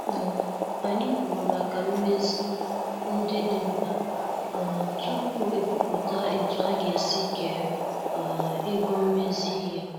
um Anyị kwuru maka mmezi ndị dị mkpa um tupu ekwupụta etu aga- esi kee um ego mmezi ihe.